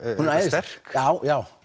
sterk já já